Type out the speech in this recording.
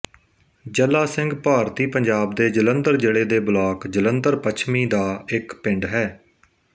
ਜੱਲਾ ਸਿੰਘ ਭਾਰਤੀ ਪੰਜਾਬ ਦੇ ਜਲੰਧਰ ਜ਼ਿਲ੍ਹੇ ਦੇ ਬਲਾਕ ਜਲੰਧਰ ਪੱਛਮੀ ਦਾ ਇੱਕ ਪਿੰਡ ਹੈ